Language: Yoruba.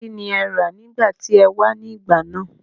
kín ni ẹ rà nígbà tí e wá ní ìgbà náà?